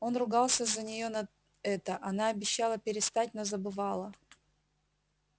он ругался на нее за это она обещала перестать но забывала